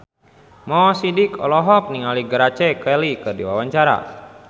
Mo Sidik olohok ningali Grace Kelly keur diwawancara